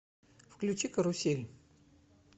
включи карусель